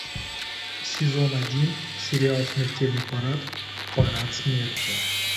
сезон один сериал смертельный парад парад смерти